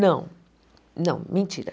Não, não, mentira.